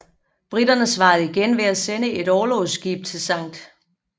Briterne svarede igen ved at sende et orlogsskib til Skt